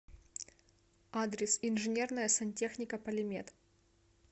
адрес инженерная сантехника полимет